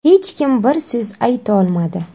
Hech kim bir so‘z aytolmadi.